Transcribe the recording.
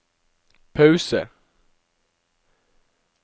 pause